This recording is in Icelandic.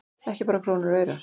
Ekki bara krónur og aurar